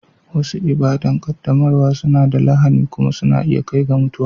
Wasu ibada'n qaddamarwa suna da lahani kuma na iya kai ga mutuwa.